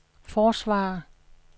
forsvarer